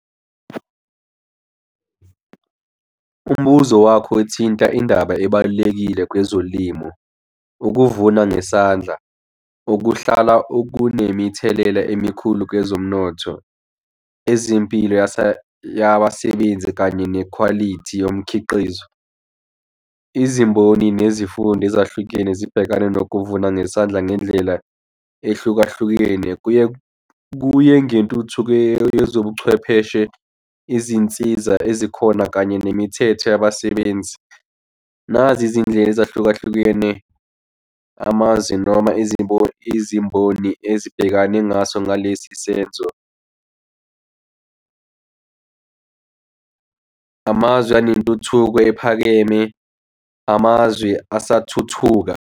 Umbuzo wakho ethinta indaba ebalulekile kwezolimo. Ukuvuna ngesandla okuhlala okunemithelela emikhulu kwezomnotho, ezempilo yabasebenzi kanye nekhwalithi yomkhiqizo. Izimboni nezifundo ezahlukene zibhekane nokuvuna ngesandla ngendlela ehlukahlukene, kuye kuye ngentuthuko yezobuchwepheshe, izinsiza ezikhona, kanye nemithetho yabasebenzi. Nazi izindlela ezahlukahlukene, amazwi noma izimboni, izimboni ezibhekane ngaso ngalesi senzo, amazwi anentuthuko ephakeme, amazwi asathuthuka.